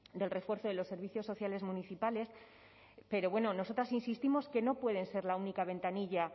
del refuerzo de los servicios sociales municipales pero nosotras insistimos que no pueden ser la única ventanilla